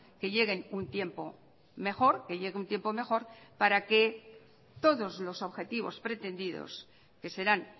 que lleguen un tiempo mejor que llegue un tiempo mejor para que todos los objetivos pretendidos que serán